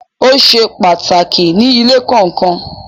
Ó se pàtàkì ní ilé kọ̀ọ̀kan.